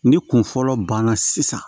Ni kun fɔlɔ banna sisan